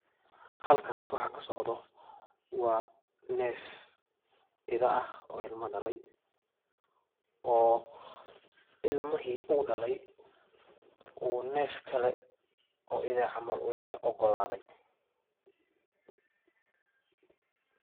Halkas waxa kasocdo waa nef Ida ah oo ilma dhalay oo ilmihi uu dhalay uu nef kale oo Ida eh camal uu ogaladay